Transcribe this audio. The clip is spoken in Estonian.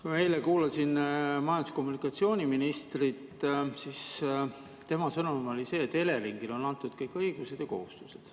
Kui ma eile kuulasin majandus- ja kommunikatsiooniministrit, siis tema sõnum oli see, et Eleringile on antud kõik õigused ja kohustused.